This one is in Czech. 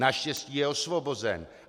Naštěstí je osvobozen.